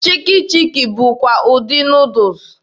Chiki chiki bụkwa ụdị Nuudus.